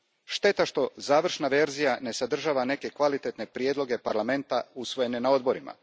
Šteta što završna verzija ne sadržava neke kvalitetne prijedloge Parlamenta usvojene na odborima.